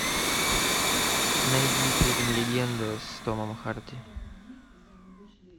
найди фильм легенда с томом харди